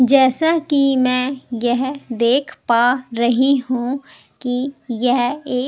जैसा कि मैं यह देख पा रही हूं कि यह एक --